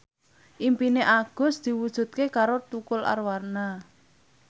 impine Agus diwujudke karo Tukul Arwana